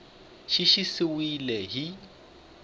xa xi siviwile hi x